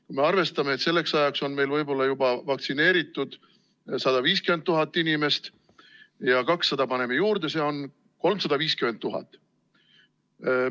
Kui arvestame, et selleks ajaks on meil vaktsineeritud võib-olla 150 000 inimest ja paneme 200 000 juurde, siis kokku on meil vaktsineerituid 350 000.